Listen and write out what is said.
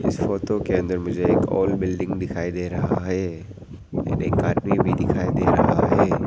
इस फोटो के अंदर मुझे एक और बिल्डिंग दिखाई दे रहा है और एक आदमी भी दिखाई दे रहा है।